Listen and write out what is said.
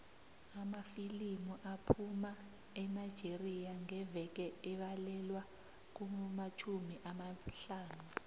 amafilimu aphuma enigeria ngeveke abalelwa kumatjhumi amahlanu